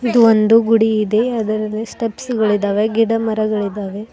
ಇದು ಒಂದು ಗುಡಿ ಇದೆ ಅದರಲ್ಲಿ ಸ್ಟೆಪ್ಸ್ ಗಳಿದ್ದಾವೆ ಗಿಡಮರಗಳಿದ್ದಾವೆ.